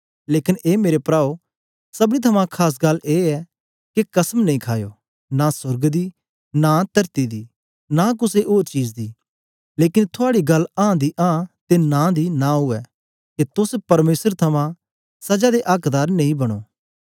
लेकन ए मेरे पराओ सबनी थमां खास गल्ल ए ऐ के कसम नेई खायो नां सोर्ग दी नां तरती दी नां कुसे ओर चीज दी लेकन थूआडी गल्ल आं दी आं ते नां दी नां उवै के तोस परमेसर थमां सजा दे आक्दार नेई बनो